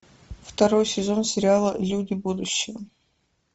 второй сезон сериала люди будущего